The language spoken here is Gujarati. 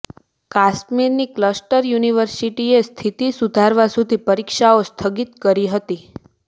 કાશ્મીરની ક્લસ્ટર યુનિવર્સિટીએ સ્થિતિ સુધરવા સુધી પરીક્ષાઓ સ્થગિત કરી હતી